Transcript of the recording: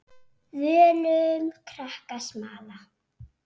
Völum krakkar smala.